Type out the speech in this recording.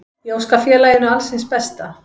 Ég óska félaginu alls hins besta.